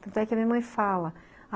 Tanto é que a minha mãe fala.